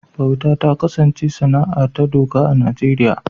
Bauta ta kasance sana’a ta doka a Najeriya